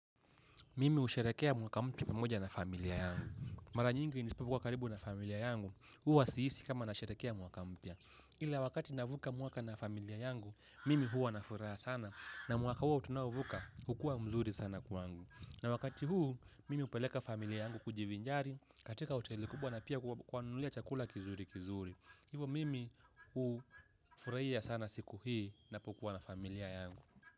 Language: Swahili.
Mimi usharekea mwaka mpya pamoja na familia yangu. Mara nyingi nisipo kwa karibu na familia yangu, huwa si hisi kama nasherekea mwaka mpya. Ila wakati navuka mwaka na familia yangu, mimi huwa nafuraa sana na mwaka huo tunao vuka hukua mzuri sana kwangu. Na wakati huu, mimi upeleka familia yangu kujivinjari, katika hoteli kubwa na pia kwa kuwanunulia chakula kizuri kizuri. Hivo mimi ufuraia sana siku hii napo kuwa na familia yangu.